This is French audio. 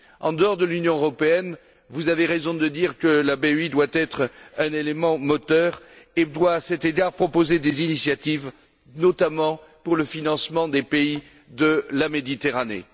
En dehors de l'Union européenne, vous avez raison de dire que la BEI doit être un élément moteur et doit, à cet égard, proposer des initiatives, notamment pour le financement des pays de la Méditerranée.